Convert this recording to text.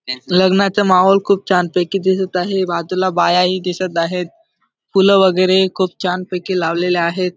लग्नाच माहोल खूप छान पैकी दिसत आहे बाजूला बाया ही दिसत आहेत फूल वगेरे खूप छान पैकी लावलेले आहेत.